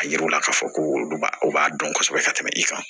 A yiriw la k'a fɔ ko olu b'a o b'a dɔn kosɛbɛ ka tɛmɛ i kan